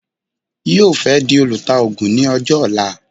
Yóò fẹ́ di olùtaògùn ní ọjọ́ ọ̀la